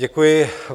Děkuji.